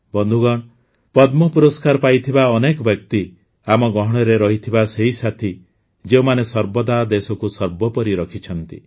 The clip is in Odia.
ବନ୍ଧୁଗଣ ପଦ୍ମ ପୁରସ୍କାର ପାଇଥିବା ଅନେକ ବ୍ୟକ୍ତି ଆମ ଗହଣରେ ରହିଥିବା ସେହି ସାଥୀ ଯେଉଁମାନେ ସର୍ବଦା ଦେଶକୁ ସର୍ବୋପରି ରଖିଛନ୍ତି